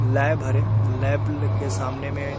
lab हरे lab के सामने में--